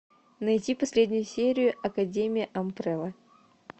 найти последнюю серию академия амбрелла